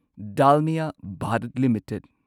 Dalmia Bharat limited